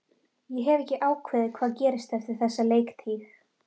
Ég hef ekki ákveðið hvað gerist eftir þessa leiktíð.